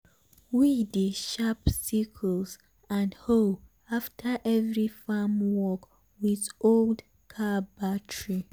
we dey sharp sickles and hoe after every farm work with old car battery.